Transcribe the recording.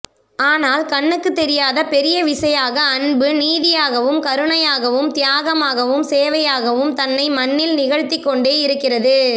ஆனால் கண்ணுக்குத்தெரியாத பெரிய விசையாக அன்பு நீதியாகவும் கருணையாகவும் தியாகமாகவும் சேவையாகவும் தன்னை மண்ணில் நிகழ்த்திக்கொண்டே இருக்கிறது